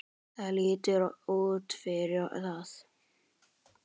Það lítur út fyrir það